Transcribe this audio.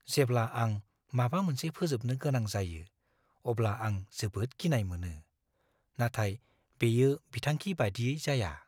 जेब्ला आं माबा मोनसे फोजोबनो गोनां जायो, अब्ला आं जोबोद गिनाय मोनो, नाथाय बेयो बिथांखि बादियै जाया।